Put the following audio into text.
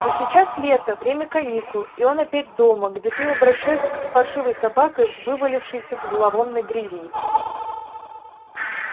но сейчас лето время каникул и он опять дома где с ним обращаются как с паршивой собакой вывалявшейся в зловонной грязи